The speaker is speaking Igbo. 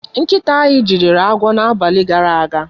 Nkịta anyị jidere agwọ n'abalị gara aga.